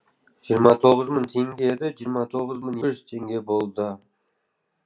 жиырма тоғыз мың теңге еді жиырма тоғыз мың екі жүз теңге болды